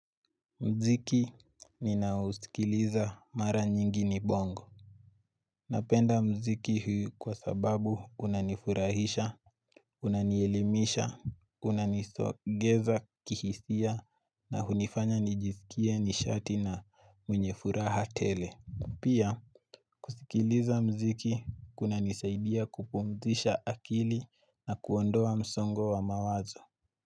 Mziki ninausikiliza mara nyingi ni bongo Napenda mziki huu kwa sababu unanifurahisha, unanielimisha, unanisogeza kihisia na hunifanya nijisikie nishati na mwenye furaha tele. Pia kusikiliza mziki kunanisaidia kupumzisha akili na kuondoa msongo wa mawazo.